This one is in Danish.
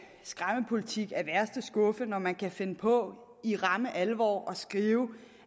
skræmmepolitik af værste skuffe når man kan finde på i ramme alvor